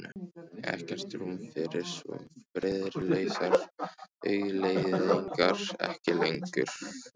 Ekkert rúm fyrir svo friðlausar hugleiðingar: ekki lengur.